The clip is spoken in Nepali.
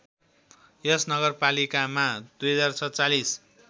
यस नगरपालिकामा २०४७